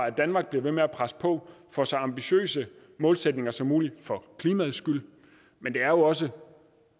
at danmark bliver ved med at presse på for så ambitiøse målsætninger som muligt for klimaets skyld men det er jo også